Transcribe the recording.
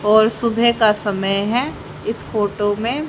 और सुबह का समय है इस फोटो में--